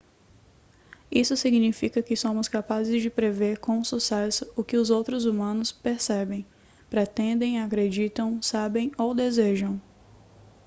isso significa que somos capazes de prever com sucesso o que outros humanos percebem pretendem acreditam sabem ou desejam